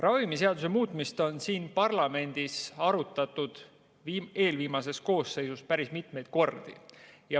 Ravimiseaduse muutmist arutati siin parlamendis eelviimase koosseisu ajal päris mitmeid kordi.